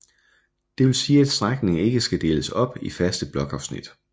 Det vil sige at strækningen ikke skal deles op i faste blokafsnit